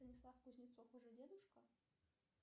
станислав кузнецов уже дедушка